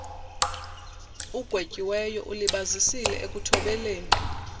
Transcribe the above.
ugwetyiweyo ulibazisile ekuthobeleni